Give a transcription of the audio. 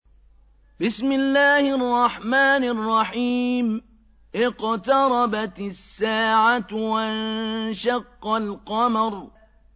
اقْتَرَبَتِ السَّاعَةُ وَانشَقَّ الْقَمَرُ